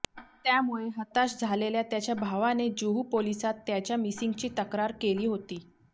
त्यामुळे हताश झालेल्या त्याच्या भावाने जुहू पोलिसांत त्याच्या मिसिंगची तक्रार केली होती